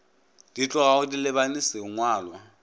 di tlogago di lebane sengwalwa